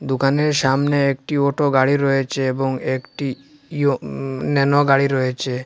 দোকানের সামনে একটি অটো গাড়ি রয়েছে এবং একটি ইও উম ন্যানো গাড়ি রয়েছে।